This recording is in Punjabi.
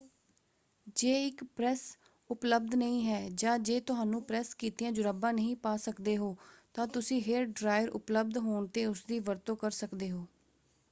ਜੇ ਇੱਕ ਪ੍ਰੈਸ ਉਪਲਬਧ ਨਹੀਂ ਹੈ ਜਾਂ ਜੇ ਤੁਹਾਨੂੰ ਪ੍ਰੈਸ ਕੀਤੀਆਂ ਜੁਰਾਬਾਂ ਨਹੀਂ ਪਾ ਸਕਦੇ ਹੋ ਤਾਂ ਤੁਸੀਂ ਹੇਅਰ ਡ੍ਰਾਇਅਰ ਉਪਲਬਧ ਹੋਣ ਤੇ ਉਸਦੀ ਵਰਤੋਂ ਕਰ ਸਕਦੇ ਹੋ।